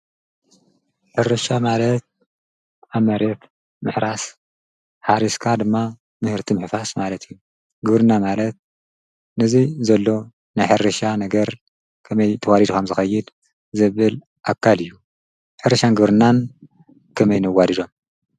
?ሕርሻ ማለት ኣመሬብ ምሕራስ ሓሪስካ ድማ ምህርቲ ምሕፋስ ማለት እዩ ግብርና ማለት ንዙይ ዘሎ ናይሕርሻ ነገር ከመይ ተዋሪድኻም ዝኸይድ ዘብል ኣካል እዩ ሕርሻን ግብርናን ከመይ ነዋዲሮም።